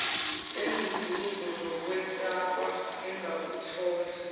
enduduzo nokwesekwa engakuthola